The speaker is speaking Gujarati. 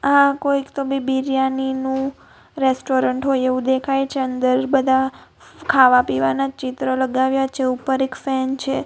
આ કોઈક તો બી બિરયાની નું રેસ્ટોરન્ટ હોય એવું દેખાય છે અંદર બધા ખાવા પીવાના ચિત્ર લગાવ્યા છે ઉપર એક ફેન છે.